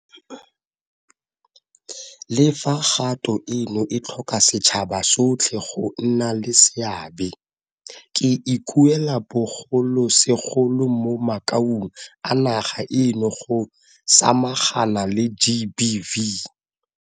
Le fa kgato eno e tlhoka setšhaba sotlhe go nna le seabe, ke ikuela bogolosegolo mo makaung a naga eno go samagana le GBV.